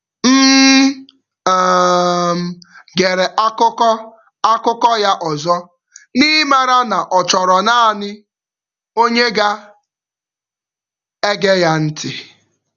M um gere akụkọ akụkọ ya ọzọ, n’ịmara na ọ chọrọ naanị, onye ga ege ya ntị